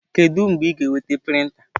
Kedu mgbe ị ga-enweta prịnta?